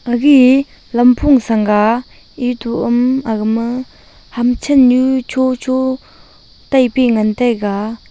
aigya lampho senga etum oum aga ma kamcha nu cho cho tai pe ngan taiga.